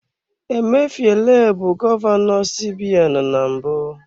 Emefiele bụ gọvanọ CBN na mbụ.